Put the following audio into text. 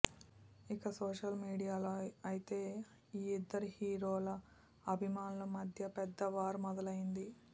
ఇక social media లో అయితే ఈ ఇద్దరి హీరోల అభిమానుల మధ్య పెద్ద వార్ మొదలయింది